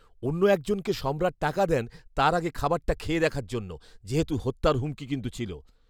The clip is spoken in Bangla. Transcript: অন্য একজনকে সম্রাট টাকা দেন তার আগে খাবারটা খেয়ে দেখার জন্য, যেহেতু হত্যার হুমকি কিন্তু ছিল।